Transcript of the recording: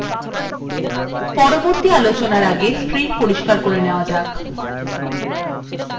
পরের command আলোচনার আগে screen পরিস্কার করে নেওয়া যাক